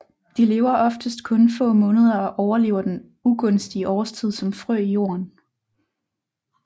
De lever oftest kun få måneder og overlever den ugunstige årstid som frø i jorden